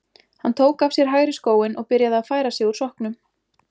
Hann tók af sér hægri skóinn og byrjaði að færa sig úr sokknum.